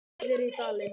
Allir í Dalinn!